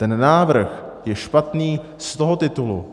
Ten návrh je špatný z toho titulu,